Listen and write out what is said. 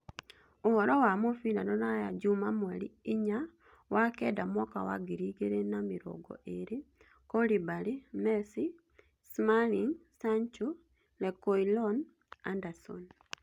Ũhoro wa mũbira rũraya juma mweri inya wa kenda mwaka wa ngiri igĩrĩ na mĩrongo ĩĩrĩ: Koulibaly, Messi, Smalling, Sancho, Rekuilon, Anderson